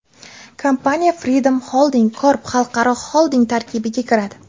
Kompaniya Freedom Holding Corp xalqaro xolding tarkibiga kiradi.